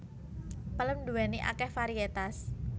Pelem nduwéni akeh variétas